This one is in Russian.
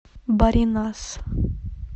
баринас